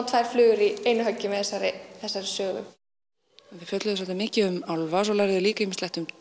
tvær flugur í einu höggi með þessari þessari sögu við fjölluðum svolítið mikið um álfa svo lærðuð þið líka ýmislegt um